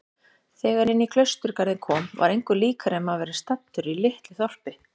Þegar inní klausturgarðinn kom var engu líkara en maður væri staddur í litlu þorpi.